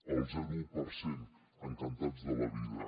al zero coma un per cent encantats de la vida